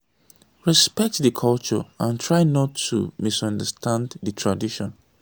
respect di culture and try not to misunderstand di tradition